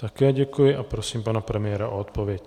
Také děkuji a prosím pana premiéra o odpověď.